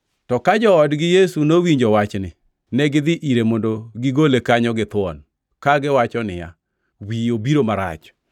To ka joodgi Yesu nowinjo wachni, negidhi ire mondo gigole kanyo githuon, kagiwacho niya, “Wiye obiro marach.”